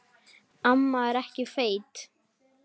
Við reyndum það síðara!